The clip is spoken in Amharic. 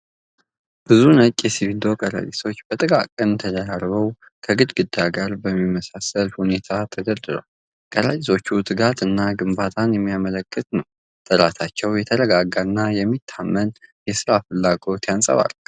ብዙ ነጭ የሲሚንቶ ከረጢቶች በጥንቃቄ ተደራርበው ከግድግዳ ጋር በሚመሳሰል ሁኔታ ተደርድረዋል። ከረጢቶቹ ትጋትን እና ግንባታን የሚያመለክት ነው፣ ጥራታቸው የተረጋጋ እና የሚታመን የሥራ ፍላጎትን ያንጸባርቃል።